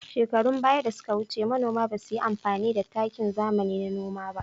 Shekarun ɓaya da suka wuce, manoma ba su yi amfani da takin zamani a noma ba.